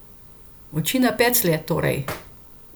Oči na peclje, torej.